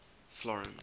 florence